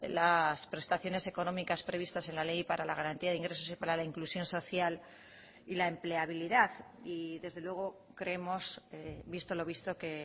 las prestaciones económicas previstas en la ley para la garantía de ingresos y para la inclusión social y la empleabilidad y desde luego creemos visto lo visto que